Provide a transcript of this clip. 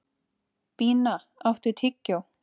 Bína, áttu tyggjó?